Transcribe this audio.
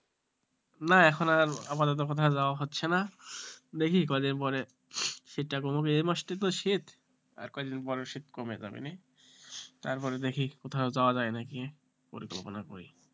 না এখন আর আপাতত কোথাও যাওয়া হচ্ছে না দেখি কয়দিন পরে শীতটা কমুক এই মাসটাই তো শীত আর কদিন পরে শীত কমে যাবে তারপরে দেখি কোথাও যাওয়া যায় নাকি পরিকল্পনা করি,